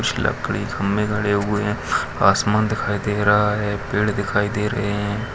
कुछ लकड़ी खंभे गड़े हुए है आसमान दिखाई दे रहा है पेड़ दिखाई दे रहे हैं।